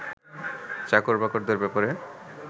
চাকর-বাকরদের ব্যাপারে